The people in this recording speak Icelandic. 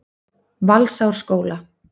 Valsárskóla